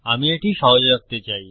আমি এটি সহজ রাখতে চাই